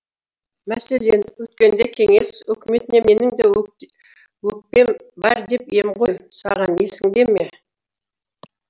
мәселен өткенде кеңес өкіметіне менің де өкпем бар деп ем ғой саған есіңде ме